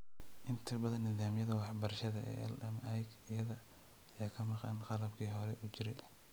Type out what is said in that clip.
Inta badan nidaamyada waxbarashada ee LMIC-yada ayaa ka maqan qalabkii hore u jiray.